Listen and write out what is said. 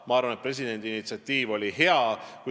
Ma arvan, et presidendi initsiatiiv oli hea.